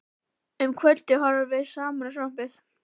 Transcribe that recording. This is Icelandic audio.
Um kvöldið horfðum við saman á sjónvarpið.